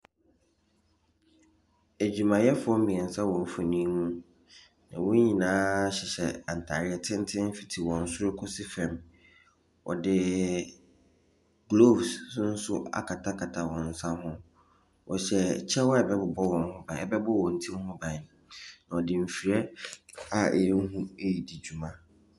Adwumayɛfoɔ mmeɛnsa wɔ mfonin mu. Wɔn nyinaa hyehyɛ ntareɛ tenten fiti wɔn soro kɔsi fam. Wɔde golves nso akatakata wɔn nsa ho. Wɔhyɛ kyɛ a ɛbɛbobɔ wɔn ho ban, ɛbɛbɔ wɔn ti ho ban. Wɔde mfidie a ɛyɛ hu redi dwuma.